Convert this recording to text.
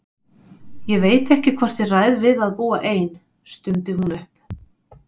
Ég veit ekki hvort ég ræð við að búa ein, stundi hún upp.